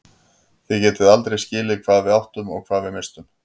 Þið getið aldrei skilið hvað við áttum og hvað við misstum.